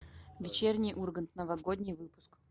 вечерний ургант новогодний выпуск